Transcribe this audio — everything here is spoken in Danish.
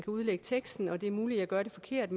udlægger teksten og det er muligt jeg gør det forkert